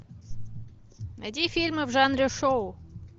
найди фильмы в жанре шоу